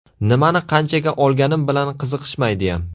Nimani qanchaga olganim bilan qiziqishmaydiyam.